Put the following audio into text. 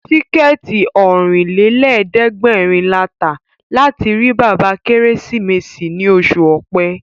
Tíkẹ̀ẹ̀tì Ọ̀rìnlélẹ̀ẹ́dẹ́gbèrin la tà láti rí bàbá Kérésìmesì ní oṣù Ọ̀pẹ